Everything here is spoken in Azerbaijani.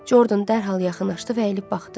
Jordan dərhal yaxınlaşdı və əyilib baxdı.